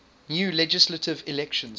new legislative elections